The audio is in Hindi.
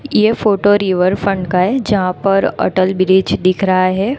यह फोटो रिवर फंड का हैं यहां पर अटल ब्रिज दिख रहा है।